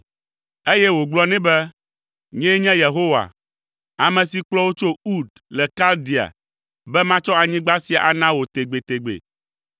Eye wògblɔ nɛ be, “Nyee nye Yehowa, ame si kplɔ wò tso Ur le Kaldea be matsɔ anyigba sia ana wò tegbetegbe.”